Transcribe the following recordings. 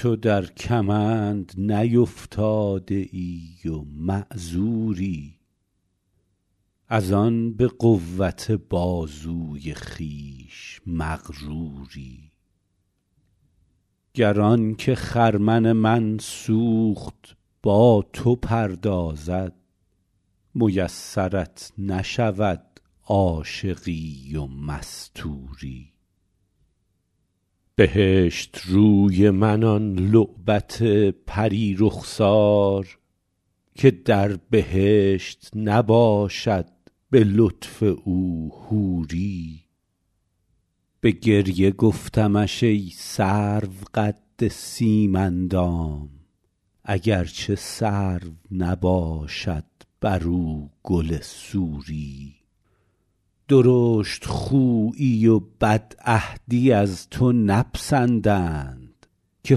تو در کمند نیفتاده ای و معذوری از آن به قوت بازوی خویش مغروری گر آن که خرمن من سوخت با تو پردازد میسرت نشود عاشقی و مستوری بهشت روی من آن لعبت پری رخسار که در بهشت نباشد به لطف او حوری به گریه گفتمش ای سرو قد سیم اندام اگر چه سرو نباشد بر او گل سوری درشت خویی و بدعهدی از تو نپسندند که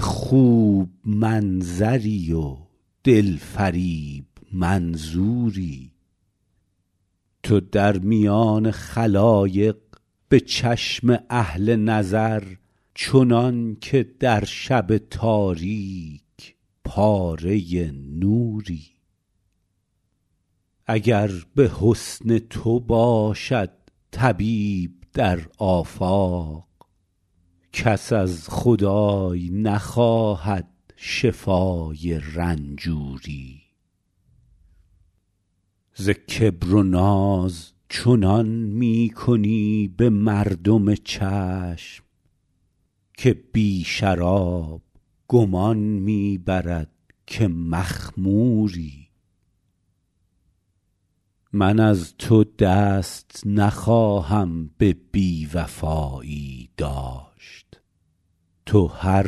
خوب منظری و دل فریب منظوری تو در میان خلایق به چشم اهل نظر چنان که در شب تاریک پاره نوری اگر به حسن تو باشد طبیب در آفاق کس از خدای نخواهد شفای رنجوری ز کبر و ناز چنان می کنی به مردم چشم که بی شراب گمان می برد که مخموری من از تو دست نخواهم به بی وفایی داشت تو هر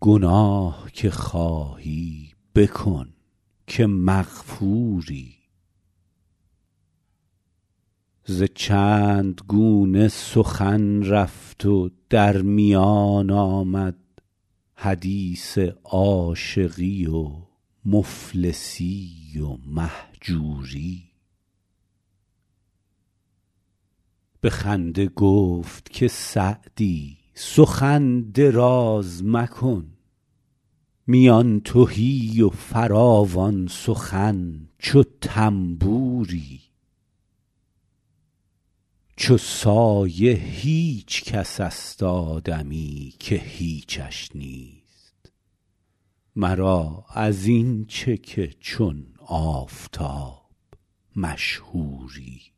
گناه که خواهی بکن که مغفوری ز چند گونه سخن رفت و در میان آمد حدیث عاشقی و مفلسی و مهجوری به خنده گفت که سعدی سخن دراز مکن میان تهی و فراوان سخن چو طنبوری چو سایه هیچ کس است آدمی که هیچش نیست مرا از این چه که چون آفتاب مشهوری